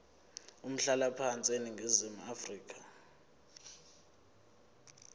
umhlalaphansi eningizimu afrika